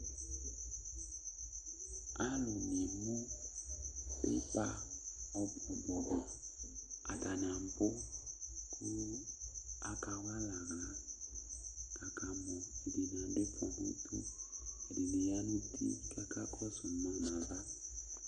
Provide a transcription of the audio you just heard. Alu ŋi ɛmu pípa ɔbu ɔbu Ataŋi abu kʋ akawalɛ aɣla kʋ akamɔ Ɛɖìní aɖu ifɔ ŋu ʋtu Ɛɖìní ɣa ŋu uti kʋ akakɔsu ma ŋu ava